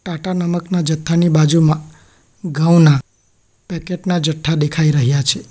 ટાટા નમકના જથ્થાની બાજુમાં ઘઉંના પેકેટ ના જથ્થા દેખાઈ રહયા છે.